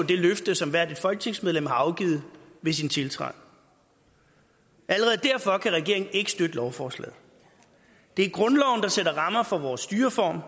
det løfte som hvert folketingsmedlem har afgivet ved sin tiltræden allerede derfor kan regeringen ikke støtte lovforslaget det er grundloven der sætter rammerne for vores styreform